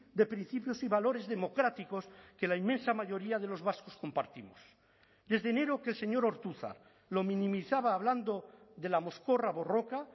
de principios y valores democráticos que la inmensa mayoría de los vascos compartimos desde enero que el señor ortuzar lo minimizaba hablando de la mozkorra borroka